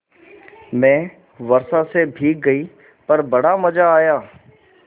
मैं वर्षा से भीग गई पर बड़ा मज़ा आया